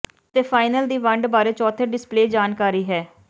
ਅਤੇ ਫਾਈਨਲ ਦੀ ਵੰਡ ਬਾਰੇ ਚੌਥੇ ਡਿਸਪਲੇਅ ਜਾਣਕਾਰੀ ਹੈ